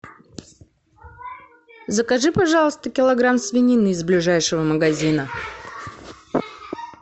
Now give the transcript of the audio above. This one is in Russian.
закажи пожалуйста килограмм свинины из ближайшего магазина